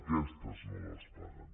aquestes no les paguen